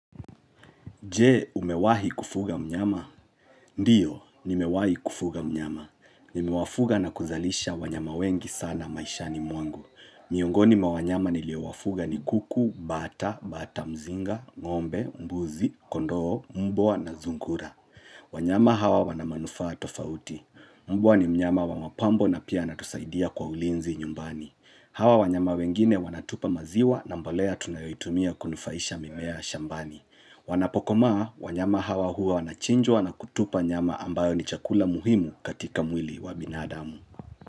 Je, umewahi kufuga mnyama? Ndiyo, nimewahi kufuga mnyama. Nimewafuga na kuzalisha wanyama wengi sana maishani mwangu. Miongoni mwa wanyama niliowafuga ni kuku, bata, bata mzinga, ngombe, mbuzi, kondoo, mbwa na sungura. Wanyama hawa wana manufaa tofauti. Mbwa ni mnyama wa mapambo na pia anatusaidia kwa ulinzi nyumbani. Hawa wanyama wengine wanatupa maziwa na mbolea tunayoitumia kunufaisha mimea shambani. Wanapokomaa wanyama hawa huwa wanachinjwa na kutupa nyama ambayo ni chakula muhimu katika mwili wa binadamu.